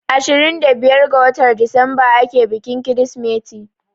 Ashirin da biyar ga watar disamba ake bikin Kirsimeti.